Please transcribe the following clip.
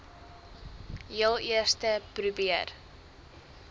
heel eerste probeer